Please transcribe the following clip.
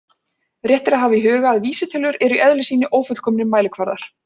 Rétt er að hafa í huga að vísitölur eru í eðli sínu ófullkomnir mælikvarðar.